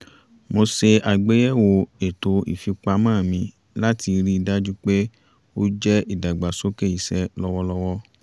mo ṣe àgbéyẹ̀wò ètò ìfipamọ́ mi láti rí i dájú pé ó jẹ́ ìdágbàsókè iṣẹ́ lọ́wọ́lọ́wọ́